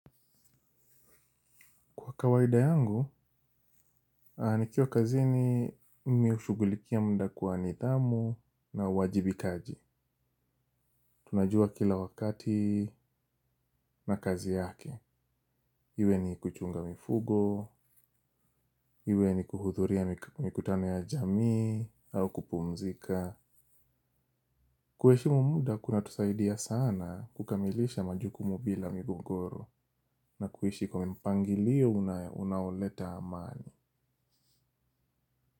Kwa kawaida yangu, nikiwa kazi ni mimihushughulikia muda kwa nidhamu na uwajibi kaji. Tunajua kila wakati na kazi yake. Iwe ni kuchunga mifugo, iwe ni kuhudhuria mikutano ya jamii, au kupumzika. Kuheshimu muda kuna tusaidia sana kukamilisha majukumu bila migongoro na kuishi kwa mpangilio unaoleta amani.